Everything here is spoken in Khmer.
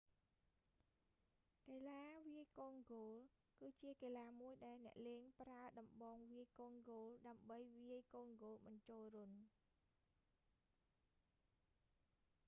កីឡាវាយកូនហ្គោល គឺជាកីឡាមួយដែលអ្នកលេងប្រើដំបងវាយកូនហ្គោល ដើម្បីវាយកូនហ្គោលបញ្ចូលរន្ធ